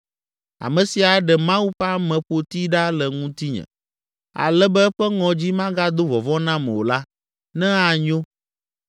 ame si aɖe Mawu ƒe ameƒoti ɖa le ŋutinye, ale be eƒe ŋɔdzi magado vɔvɔ̃ nam o la, ne anyo.